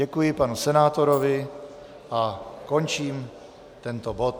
Děkuji panu senátorovi a končím tento bod.